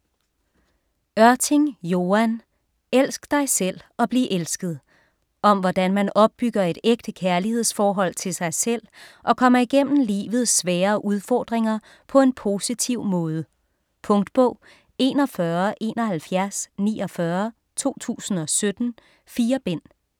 Ørting, Joan: Elsk dig selv og bliv elsket Om hvordan man opbygger et ægte kærlighedsforhold til sig selv og kommer igennem livets svære udfordringer på en positiv måde. Punktbog 417149 2017. 4 bind.